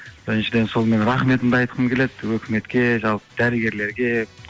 біріншіден сол менің рахметімді айтқым келеді өкіметке жалпы дәрігерлерге